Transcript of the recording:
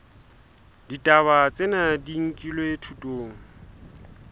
ditaba tsena di nkilwe thutong